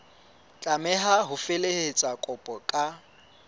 tlameha ho felehetsa kopo ka